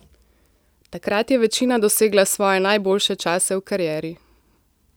Takrat je večina dosegla svoje najboljše čase v karieri.